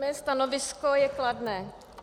Moje stanovisko je kladné.